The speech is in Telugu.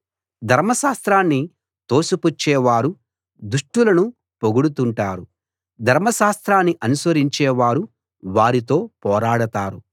ధర్మశాస్త్రాన్ని తోసిపుచ్చేవారు దుష్టులను పొగుడుతుంటారు ధర్మశాస్త్రాన్ని అనుసరించేవారు వారితో పోరాడతారు